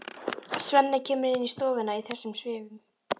Svenni kemur inn í stofuna í þessum svifum.